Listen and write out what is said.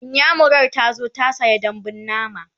inyamurar tazo ta saya dambun nama